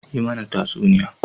Yi mana tatsuniya.